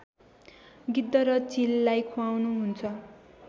गिद्ध र चिललाई खुवाउनुहुन्छ